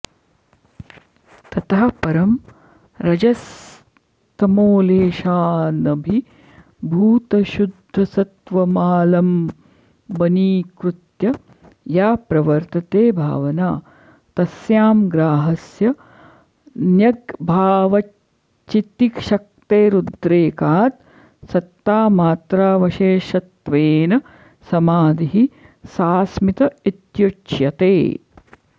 ततः परं रजस्तमोलेशानभिभूतशुद्धसत्त्वमालम्बनीकृत्य या प्रवर्तते भावना तस्यां ग्राह्यस्य न्यग्भावाच्चितिशक्तेरुद्रेकात् सत्तामात्रावशेषत्वेन समाधिः सास्मित इत्युच्यते